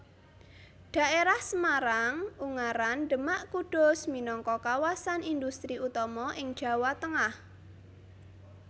Dhaérah Semarang Ungaran Demak Kudus minangka kawasan indhustri utama ing Jawa Tengah